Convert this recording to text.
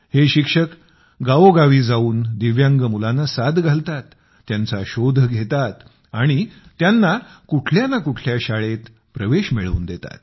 हे शिक्षक गावोगावी जाऊन दिव्यांग मुलांना साद घालतात त्यांचा शोध घेतात आणि त्यांना कुठल्या ना कुठल्या शाळेत प्रवेश मिळवून देतात